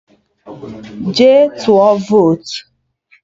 Jee tụọ votu!